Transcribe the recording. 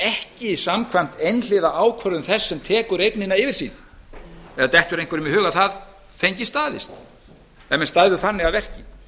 ekki samkvæmt einhliða ákvörðun þess sem tekur eignina yfir til sín eða dettur einhverjum í hug að það fengi staðist ef menn stæðu þannig að verki